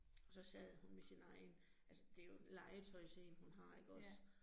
Og så sad hun med sin egen, altså det jo en legetøjs én hun har ikke også